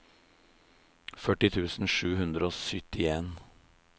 førti tusen sju hundre og syttien